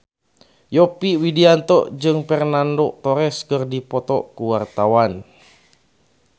Yovie Widianto jeung Fernando Torres keur dipoto ku wartawan